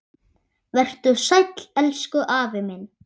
Vertu sæll, elsku afi minn.